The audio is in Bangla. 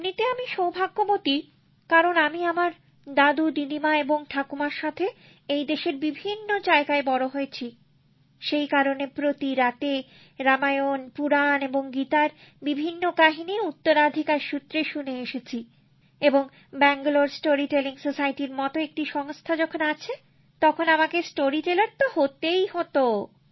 এমনিতে আমি সৌভাগ্যবতী কারণ আমি আমার দাদুদিদিমা এবং ঠাকুমার সাথে এই দেশের বিভিন্ন জায়গায় বড় হয়েছি সেই কারণে প্রতি রাতে রামায়ণ পুরাণ এবং গীতার বিভিন্ন কাহিনী উত্তরাধিকার সূত্রে শুনে এসেছি এবং ব্যাঙ্গালোর স্টোরি টেলিং স্যোসাইটির মত একটি সংস্থা যখন আছে তখন আমাকে গল্প বলিয়ে তো হতেই হত